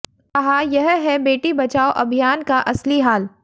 कहा यह है बेटी बचाओ अभियान का असली हाल